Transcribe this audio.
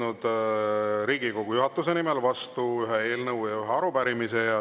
Olen võtnud Riigikogu juhatuse nimel vastu ühe eelnõu ja ühe arupärimise.